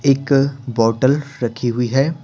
एक बॉटल रखी हुई है।